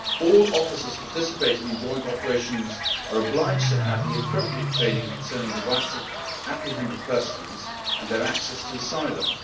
All offices participating in joint operations are obliged to have the appropriate training concerning the rights of apprehended persons and their access to asylum.